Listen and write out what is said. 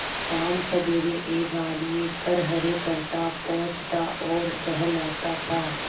शामसबेरे एक आदमी खरहरे करता पोंछता और सहलाता था